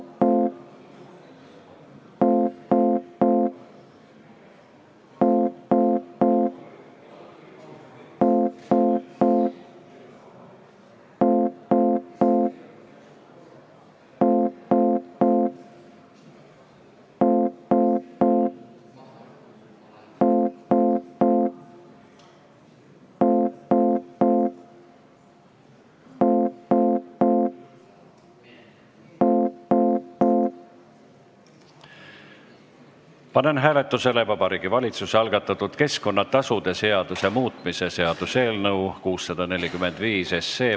Panen hääletusele Vabariigi Valitsuse algatatud keskkonnatasude seaduse muutmise seaduse eelnõu 645.